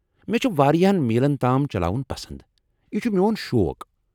مےٚ چھ وارِیاہن میلن تام چلاوُن پسند ، یہ چھ میون شوق ۔